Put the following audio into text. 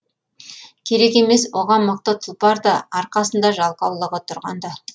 керек емес оған мықты тұлпар да арқасында жалқаулығы тұрғанда